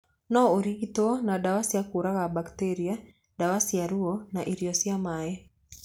No ũrigitwo na ndawa cia kũraga mbakitĩria, ndawa cia ruo na irio cia maĩ.